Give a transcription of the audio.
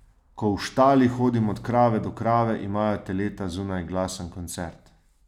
Ko v štali hodim od krave do krave, imajo teleta zunaj glasen koncert.